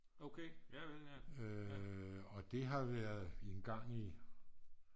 og det har været engang i